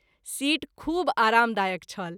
Seat खूब आराम दायक छल।